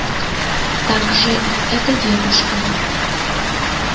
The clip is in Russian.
так же и с этой девушкой